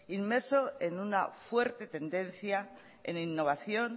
inmerso en una fuerte tendencia en innovación